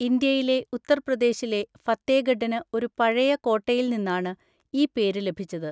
ഇന്ത്യയിലെ ഉത്തർപ്രദേശിലെ ഫത്തേഗഡിന് ഒരു പഴയ കോട്ടയിൽ നിന്നാണ് ഈ പേര് ലഭിച്ചത്.